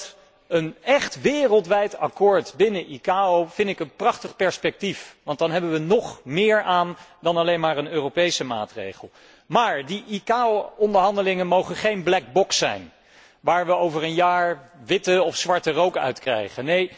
Omdat ik een echt wereldwijd akkoord binnen de ICAO een prachtig perspectief vind, want daaraan hebben wij nog meer dan alleen maar aan een Europese maatregel. Maar die ICAO onderhandelingen mogen geen black box zijn, waar wij over een jaar witte of zwarte rook uit krijgen.